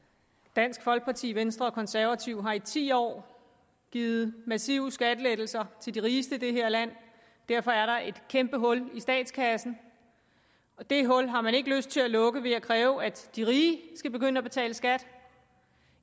dansk folkeparti venstre og konservative har i ti år givet massive skattelettelser til de rigeste i det her land og derfor er der et kæmpe hul i statskassen og det hul har man ikke lyst til at lukke ved at kræve at de rige skal begynde at betale skat